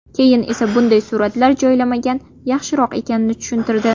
Keyin esa bunday suratlar joylamagan yaxshiroq ekanini tushuntirdi.